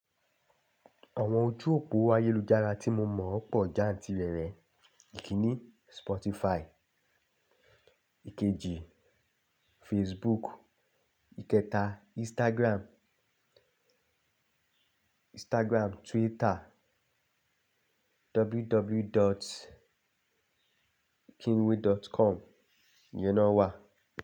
Awon oju opo ayelujara ti mo mo po jantirere. Ikiní Spotify, ikeji Facebook, ikẹta Instagram, Instagram, Twitter, www.kingwe.com. Ìyẹn naa wà.